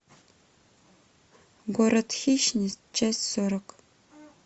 город хищниц часть сорок